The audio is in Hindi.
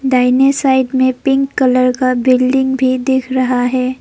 दाहिने साइड में पिंक कलर का बिल्डिंग भी दिख रहा है।